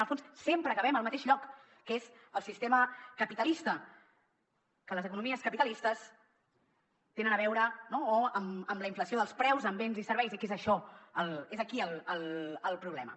en el fons sempre acabem al mateix lloc que és el sistema capitalista que les economies capitalistes tenen a veure no amb la inflació dels preus en béns i serveis i que és això és aquí el problema